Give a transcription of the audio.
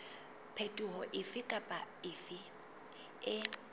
phetoho efe kapa efe e